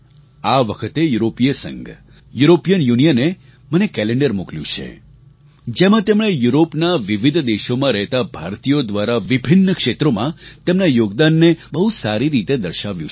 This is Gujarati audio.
આ વખતે યુરોપિય સંઘ યુરોપિયન યુનિયને મને કેલેન્ડર મોકલ્યું છે જેમાં તેમણે યુરોપના વિવિધ દેશોમાં રહેતા ભારતીયો દ્વારા વિભિન્ન્ ક્ષેત્રોમાં તેમના યોગદાનને બહુ સારી રીતે દર્શાવ્યું છે